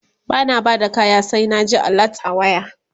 bana Bada kaya sai na ji alert a waya